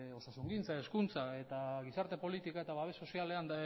osasungintzan hezkuntzan eta gizarte politika eta babes sozialean